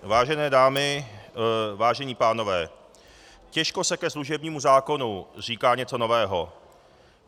Vážené dámy, vážení pánové, těžko se ke služebnímu zákonu říká něco nového.